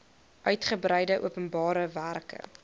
uigebreide openbare werke